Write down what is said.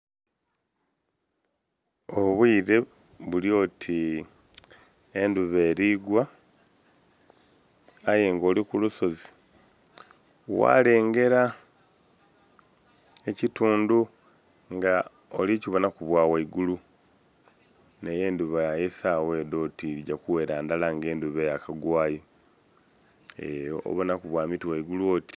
Obwiire bulyoti endhuba erigwa ayenga olikulusozi ghalengera ekyitundu nga olikyibonhaku bwa ghaigulu neyo endhuba eyasaghadho oti dhigya kughera ndhala nga endhuba Yakima eyo obonhaku bwamitwe ghagulu oti...